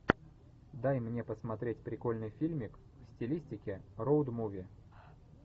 дай мне посмотреть прикольный фильмик в стилистике роуд муви